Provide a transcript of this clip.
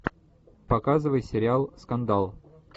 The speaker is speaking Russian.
показывай сериал скандал